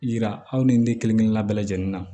Yira aw ni ne kelenkelenna bɛɛ lajɛlen na